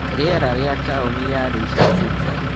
rĩera rĩa taũni ya Leisurecity